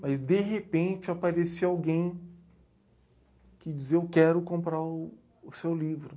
Mas, de repente, aparecia alguém que dizia, eu quero comprar o, o seu livro.